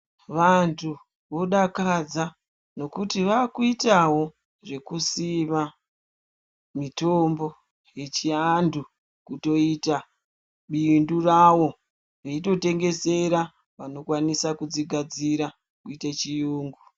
Vantu vodakadza nokuti vakuitavo zvekusima mitombo yechiantu kutoita bindu ravo. Veitotengesera vanokwanisa kudzigadzira kuite chiyungu.